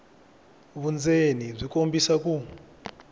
vundzeni byi kombisa ku